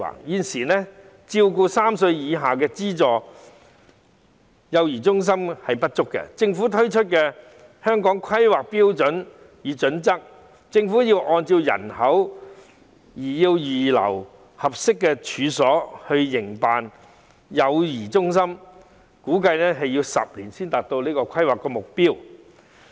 現時照顧3歲以下幼兒的資助幼兒中心不足，而根據政府發出的《香港規劃標準與準則》，政府須按照人口預留合適處所，供營辦幼兒中心之用，估計要10年才可達到規劃目標。